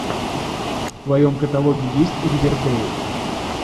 в твоем каталоге есть ривердейл